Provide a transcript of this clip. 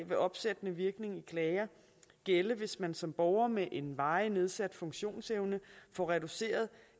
vil opsættende virkning ved klager gælde hvis man som borger med en varigt nedsat funktionsevne får reduceret